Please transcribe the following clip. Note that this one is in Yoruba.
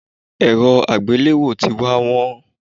Èrọ àgbéléwò tí wá wón.